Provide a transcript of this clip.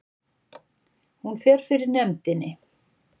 Hún fer fyrir nefndinni